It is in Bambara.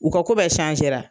U ka ko bɛɛ sansera